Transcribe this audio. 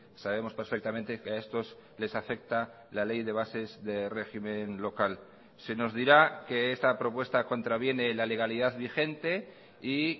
sabemos perfectamente que a estos les afecta la ley de bases de régimen local se nos dirá que esta propuesta contraviene la legalidad vigente y